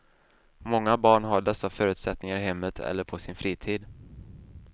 Många barn har dessa förutsättningar i hemmet eller på sin fritid.